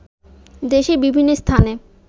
দেশের বিভিন্ন স্থানে